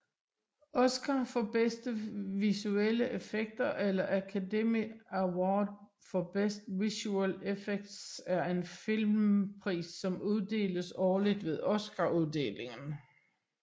Oscar for bedste visuelle effekter eller Academy Award for Best Visual Effects er en filmpris som uddeles årligt ved Oscaruddelingen